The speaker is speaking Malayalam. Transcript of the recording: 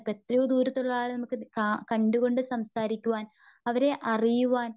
ഇപ്പം എത്രയോ ദൂരത്തുള്ളയാളെ നമുക്ക് കാ കണ്ടുകൊണ്ട് സംസാരിക്കുവാൻ. അവരെ അറിയുവാൻ.